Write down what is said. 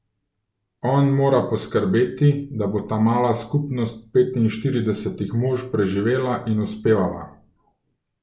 On mora poskrbeti, da bo ta mala skupnost petinštiridesetih mož preživela in uspevala.